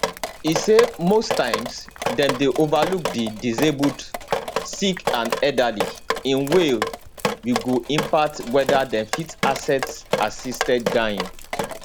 e say most times dem dey overlook di disabled sick and elderly in way we go impact weda dem fit access assisted dying